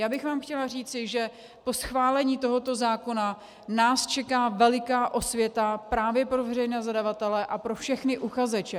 Já bych vám chtěla říci, že po schválení tohoto zákona nás čeká veliká osvěta právě pro veřejné zadavatele a pro všechny uchazeče.